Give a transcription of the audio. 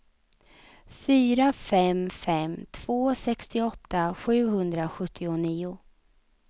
fyra fem fem två sextioåtta sjuhundrasjuttionio